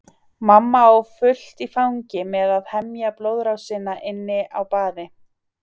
Mamma á fullt í fangi með að hemja blóðrásina inni á baði.